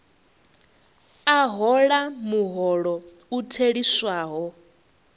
a hola muholo u theliswaho